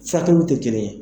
Satɛwu tɛ kelen ye.